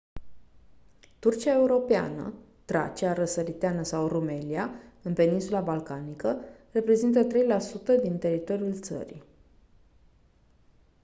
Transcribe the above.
turcia europeană tracia răsăriteană sau rumelia în peninsula balcanică reprezintă 3% din teritoriul țării